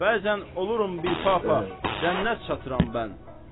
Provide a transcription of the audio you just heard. Bəzən olurum bir papa, cənnət çatdıram mən.